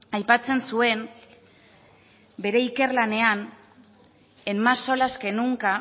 aipatzen zuen bere ikerlanean en más solas que nunca